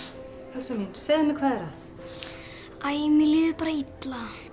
Elsa mín segðu mér hvað er að æ mér líður bara illa